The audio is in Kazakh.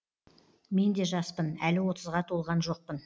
мен де жаспын әлі отызға толған жоқпын